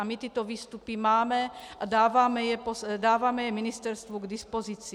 A my tyto výstupy máme a dáváme je ministerstvu k dispozici.